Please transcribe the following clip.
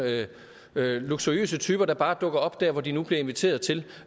luksuriøse typer der bare dukker op der hvor de nu bliver inviteret til